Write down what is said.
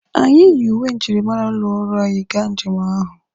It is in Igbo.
Anyị yi uwe njirimara ụlọ ọrụ anyị gaa njem ahụ.